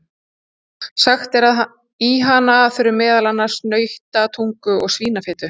Sagt er að í hana þurfi meðal annars nautatungu og svínafitu.